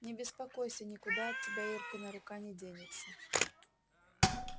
не беспокойся никуда от тебя иркина рука не денется